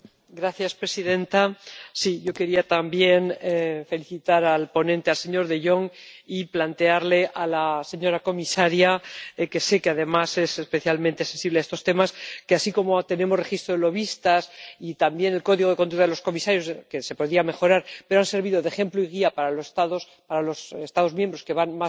Señora presidenta, yo quería también felicitar al ponente, el señor de Jong, y plantearle a la señora comisaria —que sé que además es especialmente sensible a estos temas— que, así como tenemos registros de lobistas y también el Código de Conducta de los comisarios —que se podrían mejorar, pero que han servido de ejemplo y guía para los Estados miembros que van